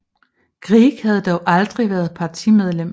Grieg havde dog aldrig været partimedlem